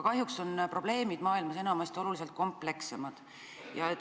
Kahjuks on probleemid maailmas enamasti komplekssed.